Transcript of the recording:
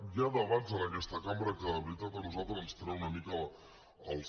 hi ha debats en aquesta cambra que de veritat a nosaltres ens treuen una mica els